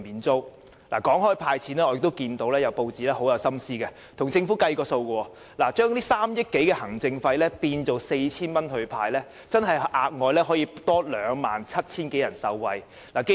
說到"派錢"，有報章十分有心思地為政府計算，如果把這3億多元行政費也按每人 4,000 元派發出去，便會有額外逾 27,000 人受惠。